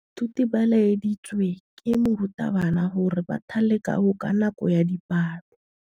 Baithuti ba laeditswe ke morutabana gore ba thale kagô ka nako ya dipalô.